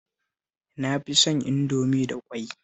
Na fi son Indomie da ƙwai